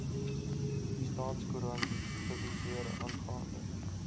staatskoerant publiseer aangaande